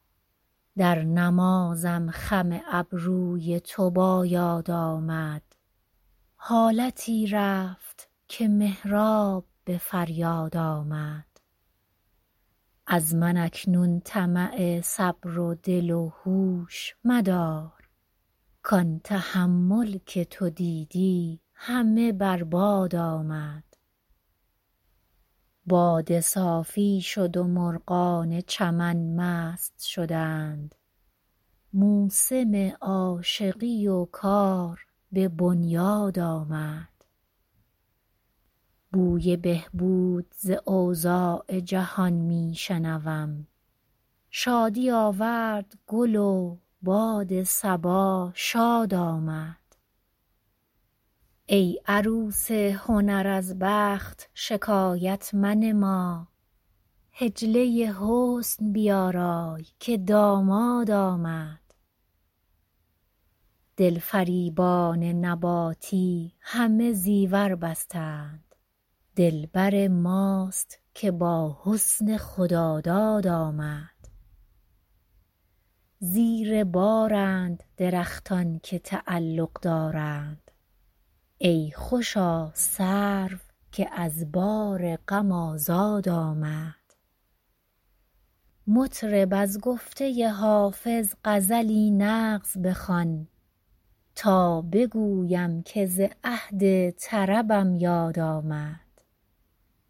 در نمازم خم ابروی تو با یاد آمد حالتی رفت که محراب به فریاد آمد از من اکنون طمع صبر و دل و هوش مدار کان تحمل که تو دیدی همه بر باد آمد باده صافی شد و مرغان چمن مست شدند موسم عاشقی و کار به بنیاد آمد بوی بهبود ز اوضاع جهان می شنوم شادی آورد گل و باد صبا شاد آمد ای عروس هنر از بخت شکایت منما حجله حسن بیارای که داماد آمد دلفریبان نباتی همه زیور بستند دلبر ماست که با حسن خداداد آمد زیر بارند درختان که تعلق دارند ای خوشا سرو که از بار غم آزاد آمد مطرب از گفته حافظ غزلی نغز بخوان تا بگویم که ز عهد طربم یاد آمد